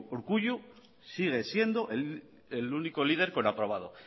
urkullu sigue siendo el único líder con aprobado